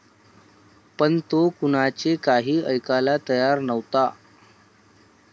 पण तो कुणाचे काही ऐकायला तयार नव्हता.